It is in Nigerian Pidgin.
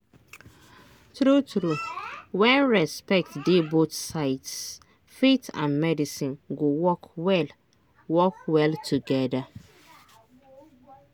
true true when respect dey both sides faith and medicine go work well work well together.